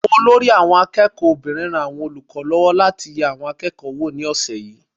Olórí àwọn akẹ́kọ̀ọ́ obìnrin ran àwọn olùkọ́ lọ́wọ́ láti yẹ àwọn akẹ́kọ̀ọ́ wò ní ọ̀sẹ̀ yìí.